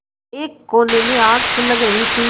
एक कोने में आग सुलग रही थी